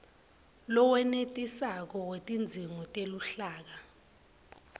lowenetisako wetidzingo teluhlaka